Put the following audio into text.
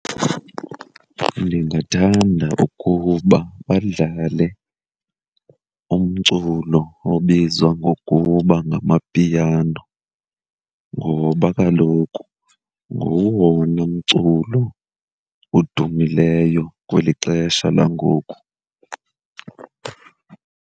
Ndingathanda ukuba badlale umculo obizwa ngokuba ngamapiano ngoba kaloku ngowona mculo odumileyo kweli xesha langoku.